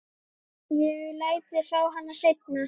Ég læt þig fá hana seinna.